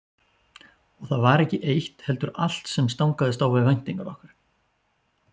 Og það var ekki eitt heldur allt sem stangaðist á við væntingar okkar.